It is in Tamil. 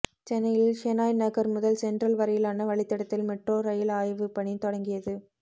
சென்னையில் ஷெனாய் நகர் முதல் சென்ட்ரல் வரையிலான வழித்தடத்தில் மெட்ரோ ரயில் ஆய்வு பணி தொடங்கியது